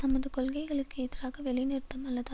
தமது கொள்கைகளுக்கு எதிராக வேலைநிறுத்தம் அல்லது